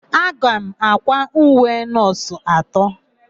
Aga m àkwá uwe nọọsụ atọ.